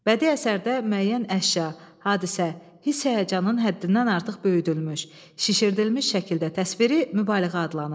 Bədii əsərdə müəyyən əşya, hadisə, hiss-həyəcanın həddindən artıq böyüdülmüş, şişirdilmiş şəkildə təsviri mübaliğə adlanır.